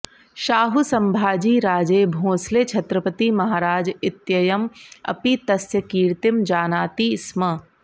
शाहु संभाजी राजे भोंसले छत्रपति महाराज इत्ययम् अपि तस्य कीर्तिं जानाति स्म